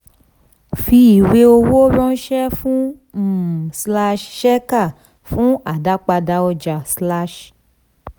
fi ìwé owó ránṣẹ́ fún um shekhar fún àdápadà ọja.